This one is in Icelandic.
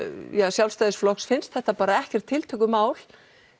Sjálfstæðisflokks finnst þetta ekkert tiltökumál